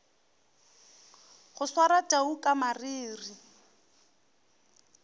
go swara tau ka mariri